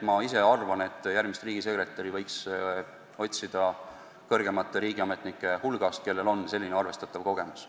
Nii et järgmist riigisekretäri võiks minu arvates otsida praeguste või endiste kõrgemate riigiametnike hulgast, kellel on selline arvestatav kogemus.